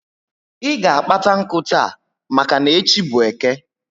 I ga kpata nku taa maka n'echi bu Eke